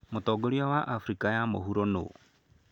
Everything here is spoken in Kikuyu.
Mũtongoria wa Afrika ya mũhuro nũũ?